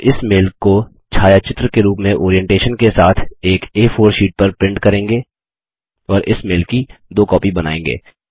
हम इस मेल को छायाचित्र के रूप में ओरिएंटेशन के साथ एक आ4 शीट पर प्रिन्ट करेंगे और इस मेल की दो कॉपी बनायेंगे